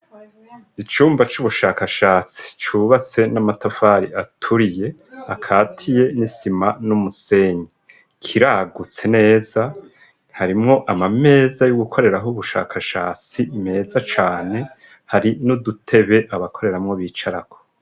Icumba c'ubushakashatsi cubatse n'amatafari aturiye akatiye n'isima n'umusenyi, kiragutse neza, harimwo amameza yo gukoreraho ubushakashatsi meza cane, hari n'udutebe abakoreramwo bicaraho.